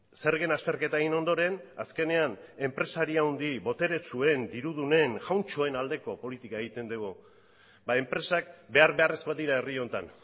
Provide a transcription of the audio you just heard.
zergen azterketa egin ondoren azkenean enpresari handi boteretsuen dirudunen jauntxoen aldeko politika egiten dugu ba enpresak behar beharrezkoak dira herri honetan